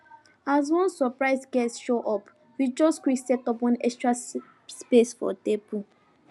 as one surprise guest show up we just quick set up one extra space for table